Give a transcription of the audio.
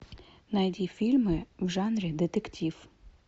найди фильмы в жанре детектив